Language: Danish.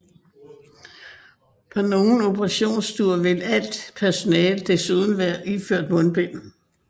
På nogle operationsstuer vil alt personalet desuden være iført mundbind